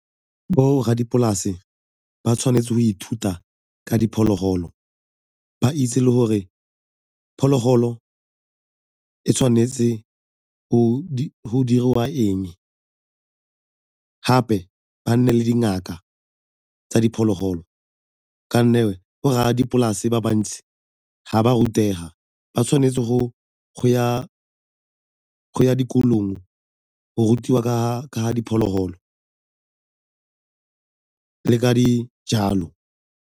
Borra dipolase ba tshwanetse go ithuta ka diphologolo ba itse le gore phologolo e tshwanetse go diriwa eng, gape ba nne le dingaka tsa diphologolo ka 'onne borra dipolase ba bantsi ga ba rutenga, ba tshwanetse go ya dikolong o go rutiwa ka diphologolo le ka dijalo.